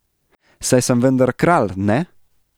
Saj sem vendar kralj, ne?